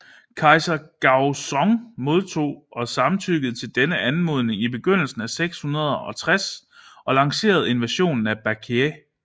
Kejser Gaozong modtog og samtykkede til denne anmodning i begyndelsen af 660 og lancerede invasionen af Baekje